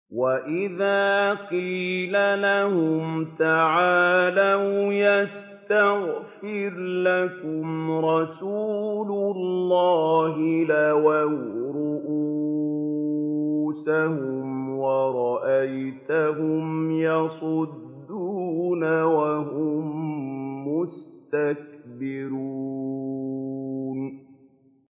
وَإِذَا قِيلَ لَهُمْ تَعَالَوْا يَسْتَغْفِرْ لَكُمْ رَسُولُ اللَّهِ لَوَّوْا رُءُوسَهُمْ وَرَأَيْتَهُمْ يَصُدُّونَ وَهُم مُّسْتَكْبِرُونَ